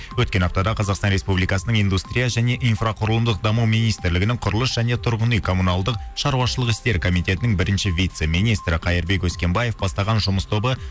өткен аптада қазақстан республикасынның индустрия және инфроқұрылымдық даму министрлігінің құрылыс және тұрғын үй коммуналдық шаруашылық істер комитетінің бірінші вице министрі қайырбек өскембаев бастаған жұмыс тобы